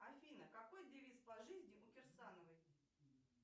афина какой девиз по жизни у кирсановой